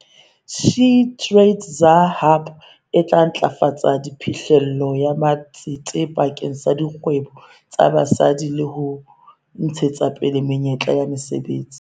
SheTradesZA Hub e tla ntlafatsa phihlello ya matsete bakeng sa dikgwebo tsa basadi le ho ntshetsapele menyetla ya mesebetsi.